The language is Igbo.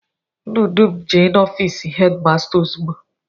Unu dum jee n'ofịịsị hedịmasta ozugbo!